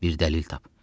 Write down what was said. Bir dəlil tap.